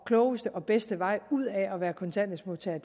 klogeste og bedste vej ud af at være kontanthjælpsmodtager